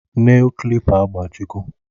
Nel klipa agbajiwo